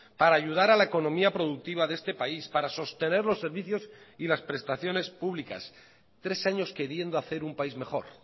para ayudar a la economía productiva de este país para sostener los servicios y las prestaciones públicas tres años queriendo hacer un país mejor